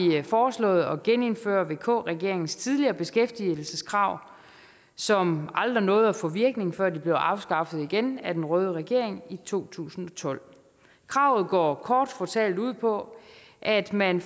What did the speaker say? foreslået at genindføre vk regeringens tidligere beskæftigelseskrav som aldrig nåede at få virkning før de blev afskaffet igen af den røde regering i to tusind og tolv kravet går kort fortalt ud på at man